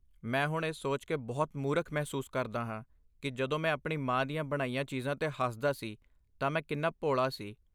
ਮੈਂ ਹੁਣ ਇਹ ਸੋਚ ਕੇ ਬਹੁਤ ਮੂਰਖ ਮਹਿਸੂਸ ਕਰਦਾ ਹਾਂ ਕਿ ਜਦੋਂ ਮੈਂ ਆਪਣੀ ਮਾਂ ਦੀਆਂ ਬਣਾਈਆਂ ਚੀਜ਼ਾਂ 'ਤੇ ਹੱਸਦਾ ਸੀ ਤਾਂ ਮੈਂ ਕਿੰਨਾ ਭੋਲਾ ਸੀ।